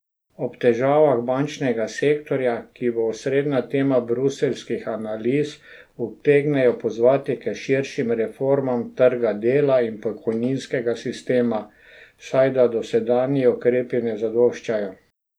Ob težavah bančnega sektorja, ki bo osrednja tema bruseljskih analiz, utegnejo pozvati k širšim reformam trga dela in pokojninskega sistema, saj da dosedanji ukrepi ne zadoščajo.